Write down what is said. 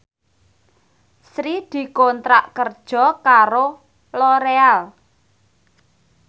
Sri dikontrak kerja karo Loreal